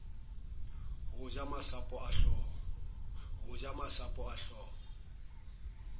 ho ja masapo a hlooho